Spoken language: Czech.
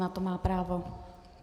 Na to má právo.